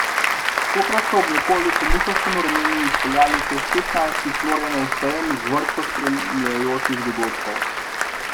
Tokrat so ob nekoliko muhastem vremenu izpeljali že šestnajsti Florijanov sejem z vrsto spremljajočih dogodkov.